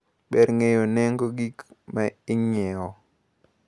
Ber ng`eyo nengo gigo mainyiewo.